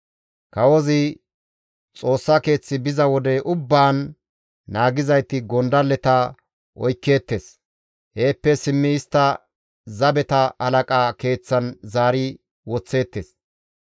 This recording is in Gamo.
Kawozi Xoossa keeth biza wode ubbaan naagizayti gondalleta oykkeettes; heeppe simmidi istta zabeta halaqa keeththan zaari woththeettes.